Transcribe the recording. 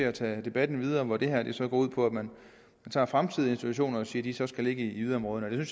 at tage debatten videre hvor det her så går ud på at man tager fremtidige institutioner og siger at de så skal ligge i yderområderne jeg